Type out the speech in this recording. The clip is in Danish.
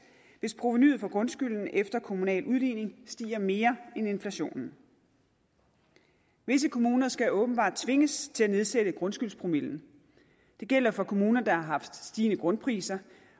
hvis provenuet for grundskylden efter kommunal udligning stiger mere end inflationen visse kommuner skal åbenbart tvinges til at nedsætte grundskyldspromillen det gælder for kommuner der har haft stigende grundpriser